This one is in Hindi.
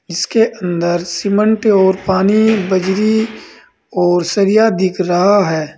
इसके अंदर सीमेंट और पानी बजरी और सरिया दिख रहा है।